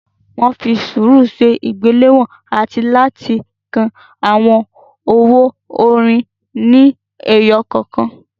Wọ́n fi sùúrù ṣe ìgbéléwọ̀n àti láti ka àwọn owó onírin ni ẹyọ kọ̀ọ̀kan.